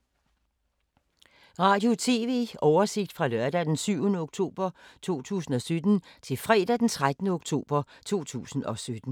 Radio/TV oversigt fra lørdag d. 7. oktober 2017 til fredag d. 13. oktober 2017